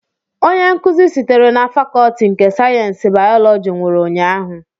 Onye nkuzi sitere na Fakọọti nke sayensị bayọlọji nwụrụ ụnyahụ